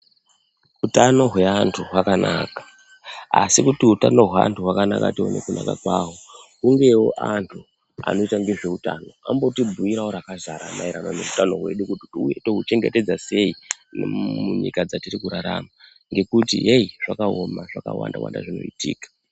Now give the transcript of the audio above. Hutano hweantu hwakanaka asi kuti hutano hweantu tione kunaka kwaho hungewo antu anoita nezvehutano amboti bhuirawo rakazara maererano nehutano hwedu kuti touchengetedza sei munyika dzatiri kurarama ngekuti hei zvakaoma zvakawanda zvinoitika.